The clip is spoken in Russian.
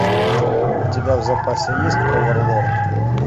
у тебя в запасе есть оверлорд